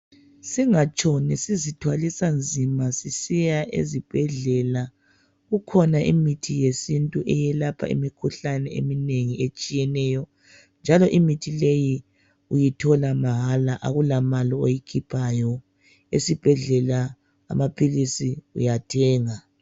Singatshoni sizithwalisa nzima sisiya ezibhedlela. Kukhona imithi yesintu eyelapha imikhuhlane eminengi etshiyeneyo, njalo imithi leyi uyithola mahala akulamali oyikhiphayo. Esibhedlela amaphilisi uyathenga.